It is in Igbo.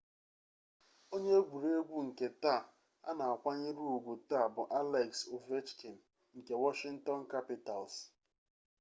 onye egwuregwu nke taa a na-akwanyere ugwu taa bụ alex ovechkin nke washington capitals